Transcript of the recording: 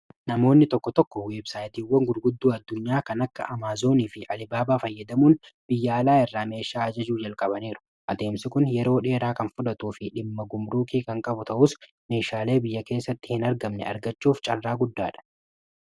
Namoonni tokko tokko websaayitiiwwan gurgudduu addunyaa kan akka amaazonii fi alibaabaa fayyadamuun biyya alaa irraa meeshaa ajajuu jalqabaniiru. Adeemsi kun yeroo dheeraa kan fudhatuu fi dhimma gumruukii kan qabu ta'us meeshaalee biyya keessatti hin argamne argachuuf carraa guddaadha.